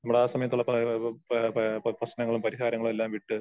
നമ്മള് ആ സമയത്തുള്ള പല കളും പാ പാ പ്രശ്നങ്ങളും പരിഹാരങ്ങളും എല്ലാം വിട്ട്